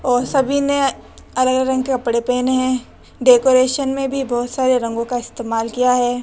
और सभी ने अलग अलग रंग कपड़े पहने हैं डेकोरेशन में भी बहोत सारे रंगों का इस्तेमाल किया है।